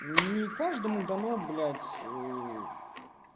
не каждому дано блять ээ